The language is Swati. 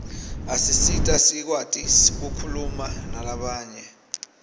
asisita sikwati kukhuluma nalabanye